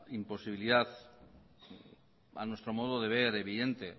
imposibilidad a nuestro modo de ver evidente